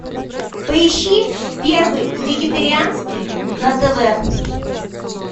поищи первый вегетарианский на тв